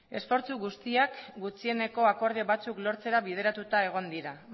esfortzu guztiak gutxieneko akordio batzuk lortzera bideratuta egon dira